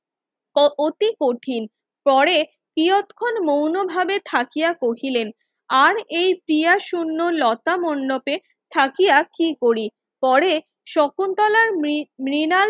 অতি কঠিন পরে তিয়তখন মৌনভাবে থাকিয়া কহিলেন আর এই তিয়া শুন্য লতা মণ্ডপে থাকিয়া কি করি পরে শকুন্তলার মৃনাল